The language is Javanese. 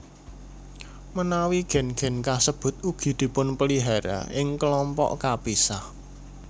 Menawi gen gen kasebut ugi dipunpelihara ing kelompok kapisah